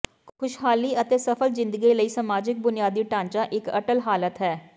ਖੁਸ਼ਹਾਲੀ ਅਤੇ ਸਫ਼ਲ ਜ਼ਿੰਦਗੀ ਲਈ ਸਮਾਜਿਕ ਬੁਨਿਆਦੀ ਢਾਂਚਾ ਇੱਕ ਅਟੱਲ ਹਾਲਤ ਹੈ